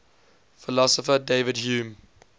philosopher david hume